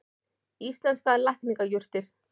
Íslenskar lækningajurtir.